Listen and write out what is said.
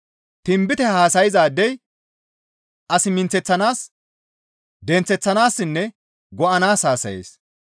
Tinbite haasayzaadey as minththeththanaas, denththeththanaassinne go7anaas haasayees.